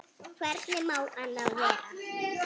Hvernig má annað vera?